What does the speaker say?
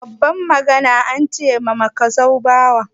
Babban magana an ce da makasau bawa.